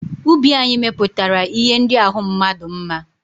Ubi anyị mepụtara ihe ndị ahụ mmadụ mma.